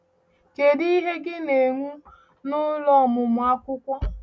Ka ìhè gị na-enwu n’ụlọ ọmụmụ akwụkwọ.